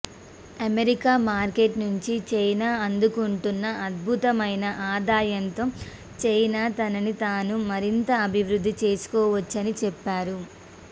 America market నుంచి China అందుకుంటున్న అద్భుతమైన ఆదాయంతో చైనా తనని తాను మరింత అభివృద్ధి చేసుకోవచ్చని చెప్పారు